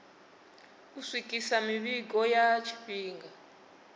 u swikisa mivhigo ya tshifhinga